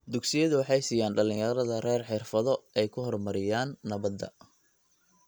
Dugsiyadu waxay siiyaan dhalinyarada rer xirfado ay ku horumariyaan nabadda.